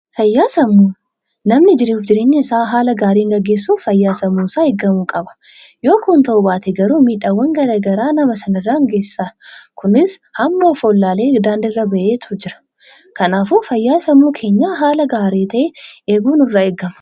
Namni jiruu fi jireenya isaa haala gaariin gaggeessuuf fayyaan sammuu isaa seeraan eeggamuu qaba. Yoo kun ta'uu baate rakkoo guddaa irraan geessisa. Hawaasni hedduun sababa dhibee sammuutiin of wallalee karaa irratti bahee jira. Kanafuu fayyaa sammuu keenyaa eeguun barbaachisaadha.